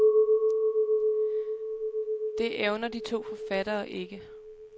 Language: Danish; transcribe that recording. Det evner de to forfattere ikke.